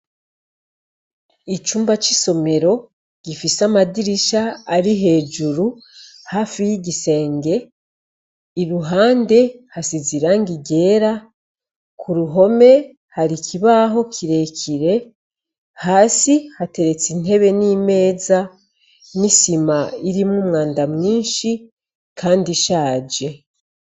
Icumba c’isomero gifise amadirisha ari hejuru hafi y’igisenge iruhande hasize irangi ryera, kuruhome hari ikibaho kirekire hasi hateretse intebe n’imeza, n’isima irimwo umwanda mwinshi kandi ishaje.